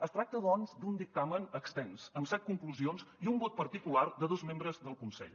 es tracta doncs d’un dictamen extens amb set conclusions i un vot particular de dos membres del consell